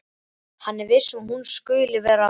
Hann er hissa að hún skuli vera að koma.